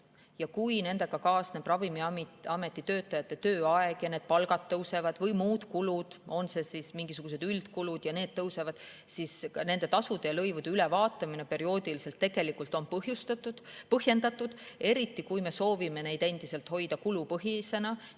Kui Ravimiameti töötajate tööaeg ja seal palgad tõusevad või muud kulud, on need siis mingisugused üldkulud, mis tõusevad, siis nende tasude ja lõivude perioodiline ülevaatamine on põhjendatud, eriti kui me soovime neid endiselt hoida kulupõhisena.